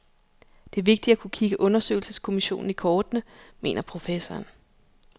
Det er vigtigt at kunne kigge undersøgelseskommissionen i kortene, mener professoren.